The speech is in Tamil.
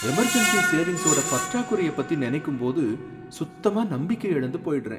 எமெர்ஜென்சி சேவிங்ஸோட பற்றாக்குறைய பத்தி நனைக்கும்போது சுத்தமா நம்பிக்கை இழந்து போய்டுறேன்.